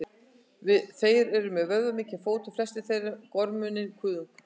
þeir eru með vöðvamikinn fót og flestir þeirra með gormundinn kuðung